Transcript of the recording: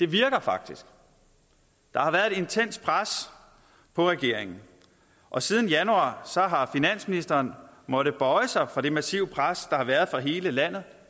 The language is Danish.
virker faktisk der har været et intenst pres på regeringen og siden januar har finansministeren måttet bøje sig for det massive pres der har været fra hele landet